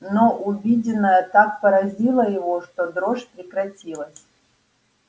но увиденное так поразило его что дрожь прекратилась